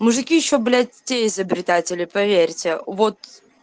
мужики ещё блять те изобретатели поверьте вот